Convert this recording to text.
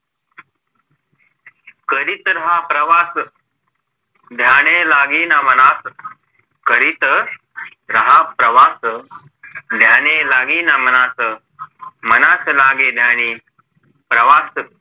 कधी तर हा प्रवास ध्याने लागे ना मनास कधी तर हा प्रवास ध्याने लागे ना मनास मनास लागे ध्यानी प्रवास